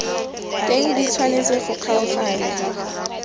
teng di tshwanetse go kgaoganngwa